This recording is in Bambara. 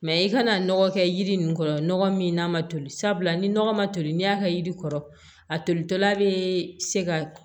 i kana nɔgɔ kɛ yiri ninnu kɔrɔ nɔgɔ min n'a ma toli sabula ni nɔgɔ ma toli n'i y'a kɛ yiri kɔrɔ a tolitɔla bɛ se ka